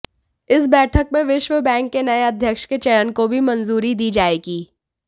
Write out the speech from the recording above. इस बैठक में विश्व बैंक के नए अध्यक्ष के चयन को भी मंजूरी दी जाएगी